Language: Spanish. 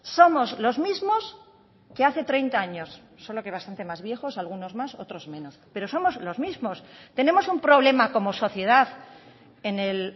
somos los mismos que hace treinta años solo que bastante más viejos algunos más otros menos pero somos los mismos tenemos un problema como sociedad en el